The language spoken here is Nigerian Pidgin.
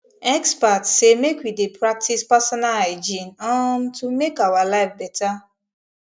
experts say make we dey practice personal hygiene um to make our life better